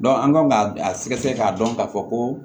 an kan ka a sɛgɛsɛgɛ k'a dɔn ka fɔ ko